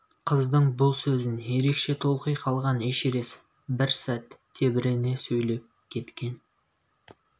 қыздың бұл сөзін ерекше толқи қалған эшерест бір сәт тебірене сөйлеп кеткен